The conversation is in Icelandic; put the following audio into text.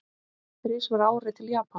Þrisvar á ári til Japans?